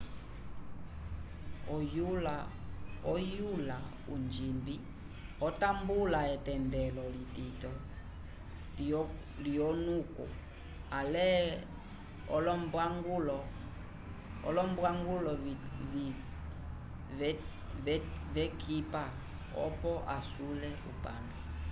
oyula onjimbi otambula etendelo litito lyolonuku ale olombwangulo v'ekipa oco asule upange